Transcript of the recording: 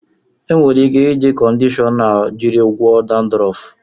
E nwere ike iji kọndishọna jiri gwọọ dandrọf.